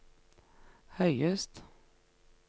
høyest